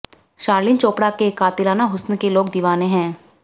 शर्लिन चोपड़ा के कातिलाना हुस्न के लोग दीवाने हैं